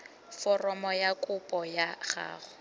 foromo ya kopo ya gago